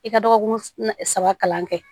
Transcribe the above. I ka dɔgɔkun saba kalan kɛ